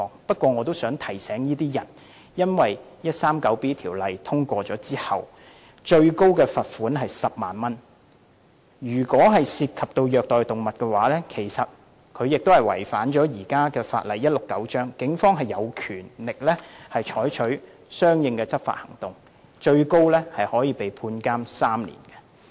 但我想提醒這些人，第 139B 章獲得通過後，最高罰款為10萬元，如果涉及虐待動物，便會同時違反現行法例第169章，警方便有權採取相應的執法行動，最高刑罰為監禁3年。